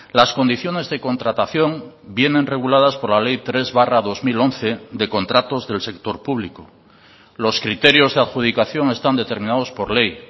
las condiciones de contratación vienen reguladas por la ley tres barra dos mil once de contratos del sector público los criterios de adjudicación están determinados por ley